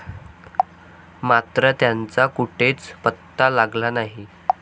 मात्र, त्यांचा कुठेच पत्ता लागला नाही.